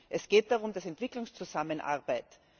Es geht da um Entwicklungszusammenarbeit.